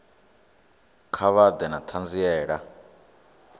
kha vha ḓe na ṱhanziela